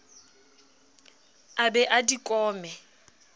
a be a di kome